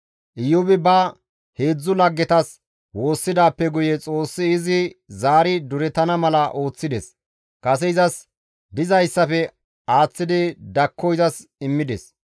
Iyoobi ba heedzdzu laggetas woossidaappe guye Xoossi izi zaari durettana mala ooththides. Kase izas dizayssafe aaththidi dakko izas immides.